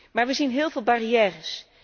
Maar er zijn heel veel barrières.